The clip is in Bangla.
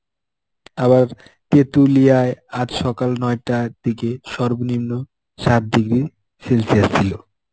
আবার তেঁতুলিয়ায় আজ সকাল নয়টার দিকে সর্বনিম্ন সাত degree celsius ছিল.